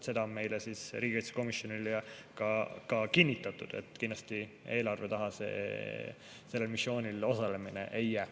Seda on meile riigikaitsekomisjonis ka kinnitatud, et kindlasti eelarve taha sellel missioonil osalemine ei jää.